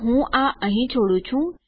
તો હું આ અહીં છોડું છું